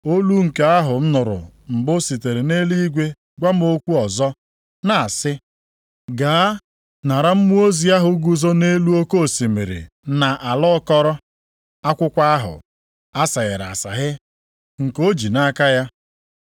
Olu nke ahụ m nụrụ mbụ sitere nʼeluigwe gwa m okwu ọzọ, na-asị, “Gaa nara mmụọ ozi ahụ guzo nʼelu oke osimiri na ala akọrọ, akwụkwọ ahụ aseghere aseghe nke o ji nʼaka ya.”